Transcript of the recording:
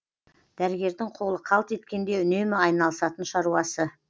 дәрігердің қолы қалт еткенде үнемі айналысатын шаруасы